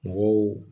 Mɔgɔw